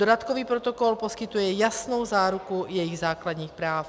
Dodatkový protokol poskytuje jasnou záruku jejich základních práv.